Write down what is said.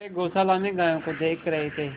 वे गौशाला में गायों को देख रहे थे